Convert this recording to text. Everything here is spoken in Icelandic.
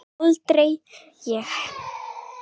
Aldrei heyrði ég hann kvarta.